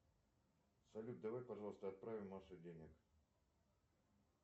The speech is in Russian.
салют давай пожалуйста отправим маше денег